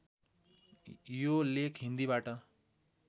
यो लेख हिन्दीबाट